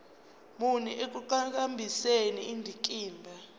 muni ekuqhakambiseni indikimba